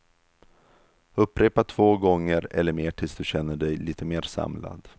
Upprepa två gånger eller mer tills du känner dig lite mer samlad.